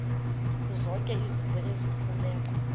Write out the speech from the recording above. zonke izinto eziyimfuneko